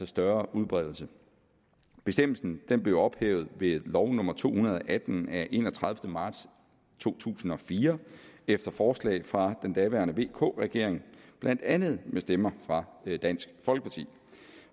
større udbredelse bestemmelsen blev ophævet ved lov nummer to hundrede og atten af enogtredivete marts to tusind og fire efter forslag fra den daværende regering vk regeringen blandt andet med stemmer fra dansk folkeparti